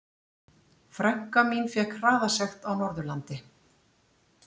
Frænka mín fékk hraðasekt á Norðurlandi.